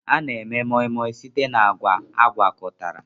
A na-eme Moi moi site na agwa agwakọtara